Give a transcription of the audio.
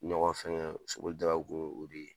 Ɲɔgɔn fɛngɛ soboli